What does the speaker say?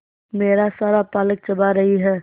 मेरा सारा पालक चबा रही है